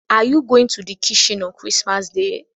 Are you going to be in the kitchen on Chrismas Day?